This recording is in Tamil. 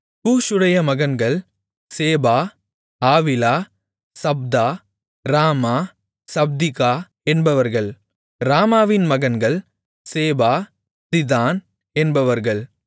கூஷூடைய மகன்கள் சேபா ஆவிலா சப்தா ராமா சப்திகா என்பவர்கள் ராமாவின் மகன்கள் சேபா திதான் என்பவர்கள்